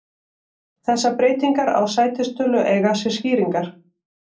Þessar breytingar á sætistölu eiga sér skýringar.